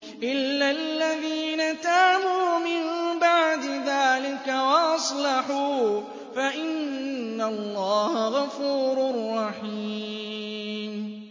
إِلَّا الَّذِينَ تَابُوا مِن بَعْدِ ذَٰلِكَ وَأَصْلَحُوا فَإِنَّ اللَّهَ غَفُورٌ رَّحِيمٌ